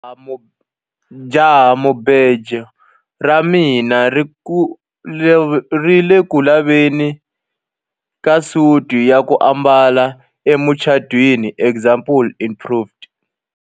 Jahamubejo ra mina ri ku le ku laveni ka suti ya ku ambala emucatwiniexample improved.